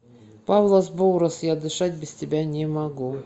павлос боурос я дышать без тебя не могу